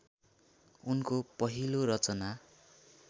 उनको पहिलो रचना